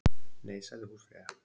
Nei, sagði húsfreyja.